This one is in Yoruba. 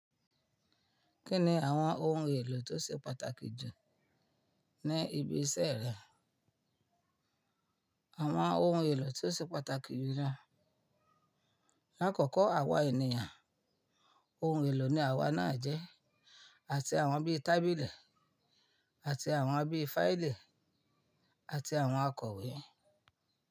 Kí ni àwọn ohun èlò tó ṣe pàtàkì jù ní ibi iṣẹ́ rẹ? Àwọn ohun èlò tó ṣe pàtàkì jù ló, lákọ̀ọ̀kọ́ àwa ènìyàn, ohun èlò ní àwa náà jẹ́, àti àwọn bí tábìlì, àti àwọn bí fáìlì, àti àwọn akọ̀wé.